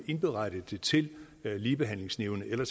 indberette det til ligebehandlingsnævnet eller